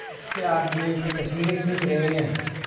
उसके आदमियों की तस्वीरें खींच रहे हैं